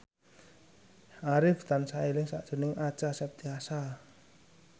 Arif tansah eling sakjroning Acha Septriasa